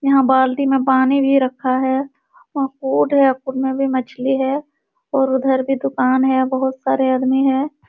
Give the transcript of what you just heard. यहाँ बाल्टी में पानी भी रखा है| वहां पोड है। पोड में भी मछली है और उधर भी उकान है बहोत सारे आदमी हैं।